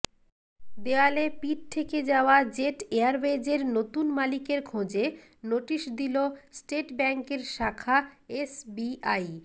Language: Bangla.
দেওয়ালে পিঠ ঠেকে যাওয়া জেট এয়ারওয়েজের নতুন মালিকের খোঁজে নোটিস দিল স্টেট ব্যাঙ্কের শাখা এসবিআই